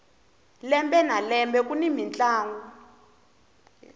lembe na lembe kuni mintlangu